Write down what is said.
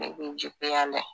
Ne b'i juguya le